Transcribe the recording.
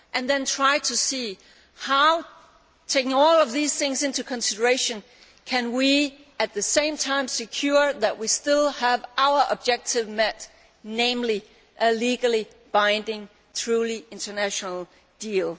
And then try to see that, by taking all of these things into consideration, we can, at the same time, ensure that we still have our objective met, namely a legally binding, truly international deal.